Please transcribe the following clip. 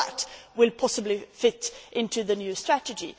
All that will possibly fit into the new strategy.